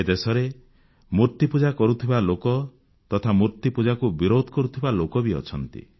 ଏ ଦେଶରେ ମୂର୍ତ୍ତିପୂଜା କରୁଥିବା ଲୋକ ତଥା ମୂର୍ତ୍ତିପୂଜାକୁ ବିରୋଧ କରୁଥିବା ଲୋକ ବି ଅଛନ୍ତି